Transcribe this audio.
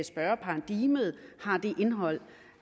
spørgeparadigmet har det indhold